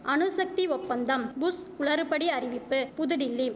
அணுசக்தி ஒப்பந்தம் புஷ் குளறுபடி அறிவிப்பு புதுடில்லி